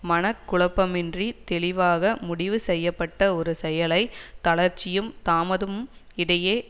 மன குழப்பமின்றித் தெளிவாக முடிவு செய்ய பட்ட ஒரு செயலை தளர்ச்சியும் தாமதமம் இடையே